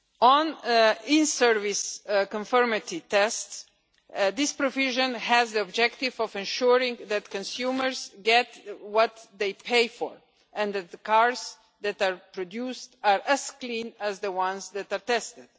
On in service conformity tests, this provision has the objective of ensuring that consumers get what they pay for and that the cars that are produced are as clean as the ones that are tested.